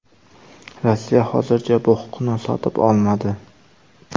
Rossiya hozircha bu huquqni sotib olmadi.